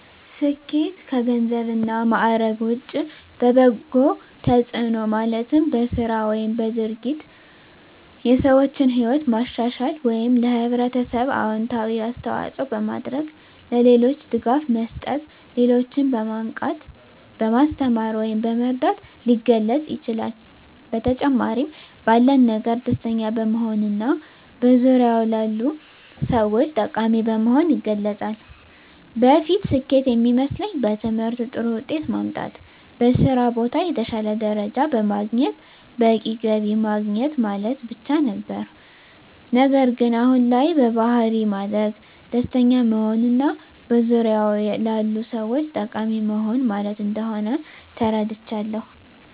ስኬት ከገንዘብ እና ማዕረግ ውጭ በበጎ ተጽዕኖ ማለትም በሥራ ወይም በድርጊት የሰዎችን ሕይወት ማሻሻል ወይም ለኅብረተሰብ አዎንታዊ አስተዋፅዖ በማድረግ፣ ለሌሎች ድጋፍ መስጠት፣ ሌሎችን በማንቃት፣ በማስተማር ወይም በመርዳት ሊገለፅ ይችላል። በተጨማሪም ባለን ነገር ደስተኛ በመሆንና በዙሪያዎ ላሉ ሰዎች ጠቃሚ በመሆን ይገለፃል። በፊት ስኬት የሚመስለኝ በትምህርት ጥሩ ውጤት ማምጣት፣ በስራ ቦታ የተሻለ ደረጃ በማግኘት በቂ ገቢ ማግኘት ማለት ብቻ ነበር። ነገር ግን አሁን ላይ በባሕሪ ማደግ፣ ደስተኛ መሆንና በዙሪያዎ ላሉ ሰዎች ጠቃሚ መሆን ማለት እንደሆን ተረድቻለሁ።